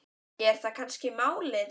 Er það kannski málið?